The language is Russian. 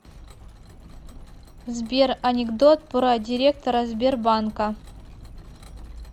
сбер анекдот про директора сбербанка